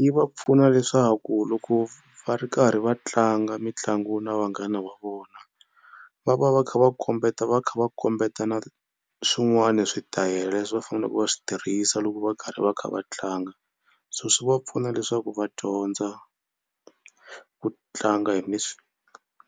Yi va pfuna leswaku loko va ri karhi va tlanga mitlangu na vanghana va vona va va va kha va kombeta va kha va kombetana swin'wana switayele leswi va fanele va swi tirhisa loko va karhi va kha va tlanga. So swi va pfuna leswaku va dyondza ku tlanga hi